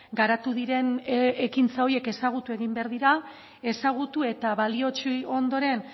garatu diren ekintza horiek ezagutu egin behar dira ezagutu eta balioetsi ondoren